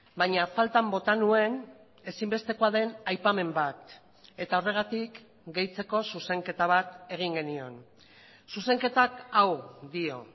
baina faltan bota nuen ezinbestekoa den aipamen bat eta horregatik gehitzeko zuzenketa bat egin genion zuzenketak hau dio